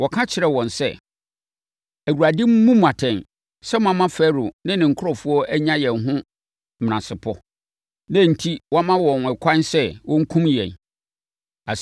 wɔka kyerɛɛ wɔn sɛ, “ Awurade mmu mo atɛn sɛ moama Farao ne ne nkurɔfoɔ anya yɛn ho menasepɔ, na enti wama wɔn ɛkwan sɛ wɔnkum yɛn.”